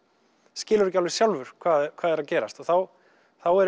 skilur ekki alveg sjálfur hvað hvað er að gerast þá er